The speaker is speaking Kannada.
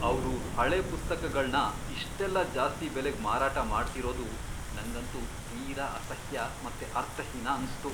ಅವ್ರು ಹಳೆ ಪುಸ್ತಕಗಳ್ನ ಇಷ್ಟೆಲ್ಲ ಜಾಸ್ತಿ ಬೆಲೆಗ್ ಮಾರಾಟ ಮಾಡ್ತಿರೋದು ನಂಗಂತೂ ತೀರಾ ಅಸಹ್ಯ ಮತ್ತೆ ಅರ್ಥಹೀನ ಅನ್ಸ್ತು.